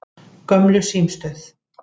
Gömlu símstöð